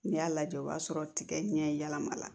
N'i y'a lajɛ o b'a sɔrɔ tigɛ ɲɛ yɛlɛma la